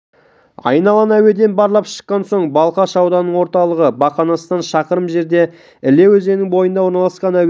айналаны әуеден барлап шыққан соң балқаш ауданының орталығы бақанастан шақырым жерде іле өзенінің бойында орналасқан әуе